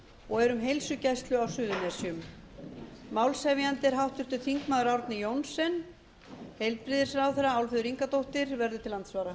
og er um heilsugæslu á suðurnesjum málshefjandi er háttvirtur þingmaður árni johnsen heilbrigðisráðherra álfheiður ingadóttir verður til andsvara